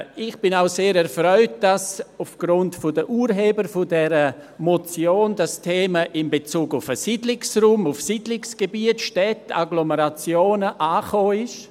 Ich bin auch sehr erfreut, dass durch die Urheber dieser Motion das Thema in Bezug auf den Siedlungsraum, Siedlungsgebiete, Städte und Agglomerationen angekommen ist.